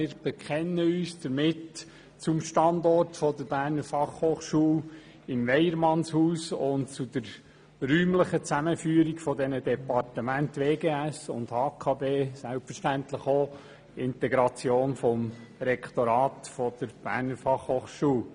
Wir bekennen uns damit zum Standort der Berner Fachhochschule in Weyermannshaus und zur räumlichen Zusammenführung der Departemente WGS und HKB und selbstverständlich auch der Integration des Rektorats der Berner Fachhochschule.